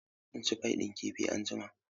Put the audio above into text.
Zan ci fai ɗin kifi anjima.